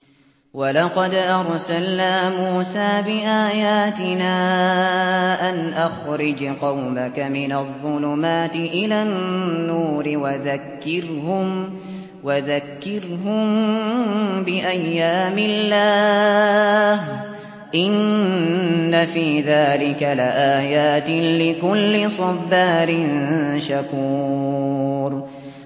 وَلَقَدْ أَرْسَلْنَا مُوسَىٰ بِآيَاتِنَا أَنْ أَخْرِجْ قَوْمَكَ مِنَ الظُّلُمَاتِ إِلَى النُّورِ وَذَكِّرْهُم بِأَيَّامِ اللَّهِ ۚ إِنَّ فِي ذَٰلِكَ لَآيَاتٍ لِّكُلِّ صَبَّارٍ شَكُورٍ